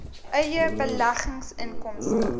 eie beleggings inkomste